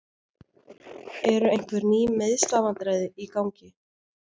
Eru einhver ný meiðslavandræði í gangi?